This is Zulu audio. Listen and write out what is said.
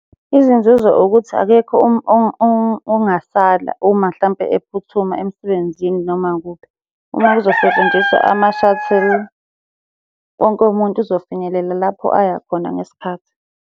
Izinzuzo ukuthi akekho ongasala uma hlampe ephuthuma emsebenzini noma kuphi. Uma uzosebenzisa ama-shuttle, wonke umuntu uzofinyelela lapho aya khona ngesikhathi.